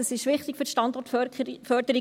das ist wichtig für die Standortförderung.